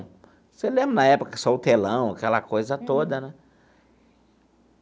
Você lembra na época que saiu o telão, aquela coisa toda, né?